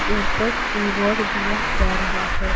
ऊपर रिवॉर्ड दिया जा रहा है।